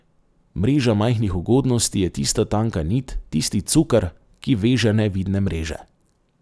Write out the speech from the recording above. Mreža majhnih ugodnosti je tista tanka nit, tisti cuker, ki veže nevidne mreže.